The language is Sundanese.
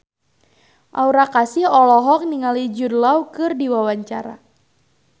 Aura Kasih olohok ningali Jude Law keur diwawancara